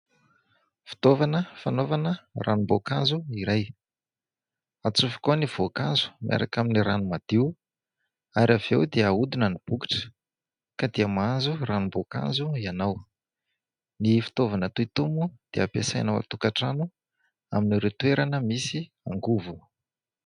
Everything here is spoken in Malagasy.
Fitaovana fanaovana ranom-boankazo iray, atsofoka ao ny voankazo miaraka amin'ny rano madio ary avy eo dia ahodina ny bokotra ka dia mahazo ranom-boankazo ianao. Ny fitaovana toy itony moa dia ampiasaina ao an-tokantrano amin'ireo toerana misy angovo.